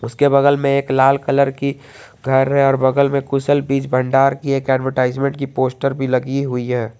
उसके बगल में एक लाल कलर की घर है बगल में कुशल बीज भंडार की एडवरटाइजमेंट की पोस्टर भी लगी हुई है।